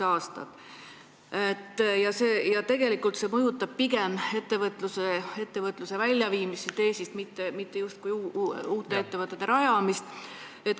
Samuti ütlesite seda, et see mõjutab pigem ettevõtluse väljaviimist Eestist, mitte uute ettevõtete rajamist.